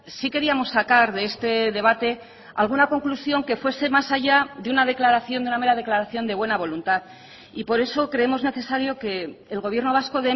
sí queríamos sacar de este debate alguna conclusión que fuese más allá de una declaración de una mera declaración de buena voluntad y por eso creemos necesario que el gobierno vasco